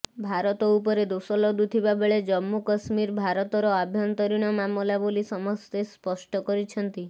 ଭାରତ ଉପରେ ଦୋଷ ଲଦୁଥିବା ବେଳେ ଜମ୍ମୁ କଶ୍ମୀର ଭାରତର ଆଭ୍ୟନ୍ତରୀଣ ମାମଲା ବୋଲି ସମସ୍ତେ ସ୍ପଷ୍ଟ କରିଛନ୍ତି